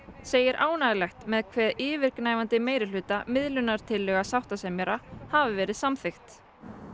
segir ánægjulegt með hve yfirgnæfandi meirihluta miðlunartillaga sáttasemjara hafi verið samþykkt